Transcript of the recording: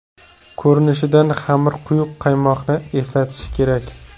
Ko‘rinishidan xamir quyuq qaymoqni eslatishi kerak.